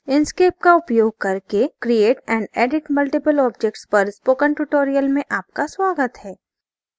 inkscape का उपयोग करके create and edit multiple objects पर spoken tutorial में आपका स्वागत है